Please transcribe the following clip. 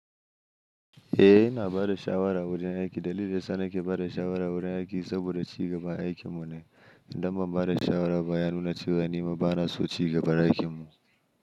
Eh ina bara sha'awar a wurin aiki. Dalili sanake bara sha'awar a wurin aiki saboda ci gaba ake munai. Indamma bara sha'awar bayanu na ci gani ma bana so ci gaba ake mun.